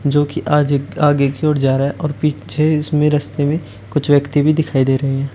जो कि आज आगे की ओर जा रहा है और पीछे इसमें रास्ते में कुछ व्यक्ति भी दिखाई दे रहे हैं।